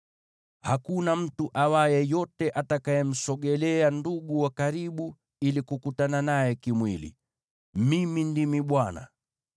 “ ‘Hakuna mtu awaye yote atakayemsogelea ndugu wa karibu ili kukutana naye kimwili. Mimi ndimi Bwana .